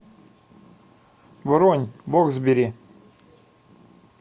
бронь боксбери